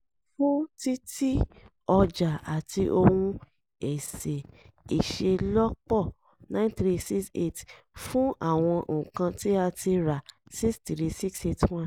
fún títí ọjà àwọn ohun èsè-ìṣelọ́pọ̀ 9368 fún àwọn nǹkan tí a tí a rà 63681